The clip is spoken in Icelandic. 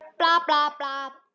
Bla, bla, bla.